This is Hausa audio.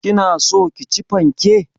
Kina so ki ci fanke?